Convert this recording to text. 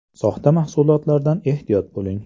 Soxta mahsulotlardan ehtiyot bo‘ling !!!